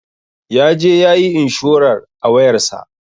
Yaje yayi inshurar a wayar sa.